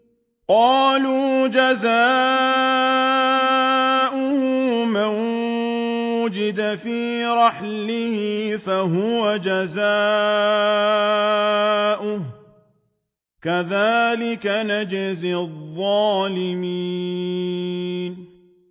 قَالُوا جَزَاؤُهُ مَن وُجِدَ فِي رَحْلِهِ فَهُوَ جَزَاؤُهُ ۚ كَذَٰلِكَ نَجْزِي الظَّالِمِينَ